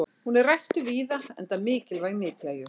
hún er ræktuð víða enda mikilvæg nytjajurt